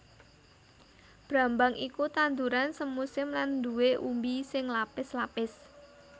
Brambang iku tanduran semusim lan nduwè umbi sing lapis lapis